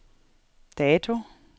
dato